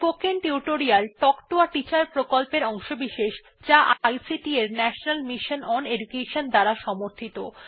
spoken tutorial talk to a teacher প্রকল্পের অংশবিশেষ যা আইসিটি এর ন্যাশনাল মিশন ওন এডুকেশন দ্বারা সমর্থিত